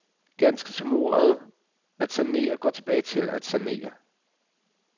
Ganske som ordet at sanere går tilbage til sanare.